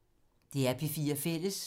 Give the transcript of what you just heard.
DR P4 Fælles